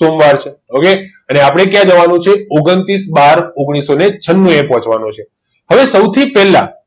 સોમવાર છે okay અને આપડે ક્યાં જવાનું છે ઓગણતીસ બાર ઓગણીસો છનૂ એ પોચવાનું છે હવે સૌથી પેલા